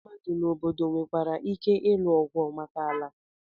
Ndị mmadu na obodo nwekwara ike ịlụ ọgụ maka ala.